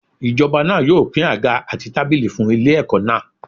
Ijoba náà yóò pín àga àti tábìlì fún ilé ẹ̀kọ́ náà.